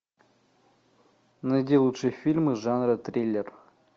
найди лучшие фильмы жанра триллер